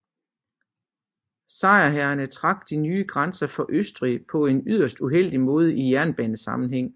Sejrherrerne trak de nye grænser for Østrig på en yderst uheldig måde i jernbanesammenhæng